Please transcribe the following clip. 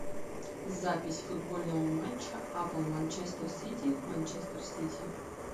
запись футбольного матча апл манчестер сити манчестер сити